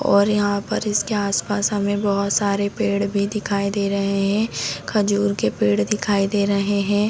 और यहाँ पर इसके आसपास बहुत सारे पेड़ भी दिखाई दे रहे हैं खजूर के पेड़ दिखाई दे रहे हैं।